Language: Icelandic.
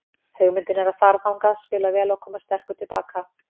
Hugmyndin er að fara þangað, spila vel og koma sterkur til baka.